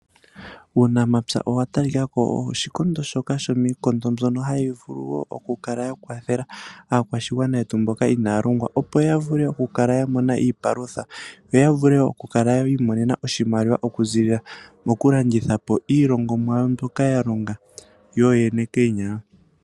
Uunamapya owa talikako owo oshikondo shoka shomiikondo mbyono hayi vulu wo okukala yakwathela aakwashigwana yetu mboka inaaya longwa, opo yavule okukala yamona iipalutha , opo yavule okukala yiimonena oshimaliwa okuziilila mokulandithapo iilongomwa mbyoka yalonga yooyene koonyala.